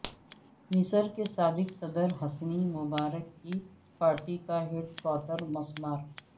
مصر کے سابق صدر حسنی مبارک کی پارٹی کا ہیڈکوارٹر مسمار